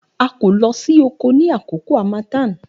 A ko lo si oko ni akoko hamathan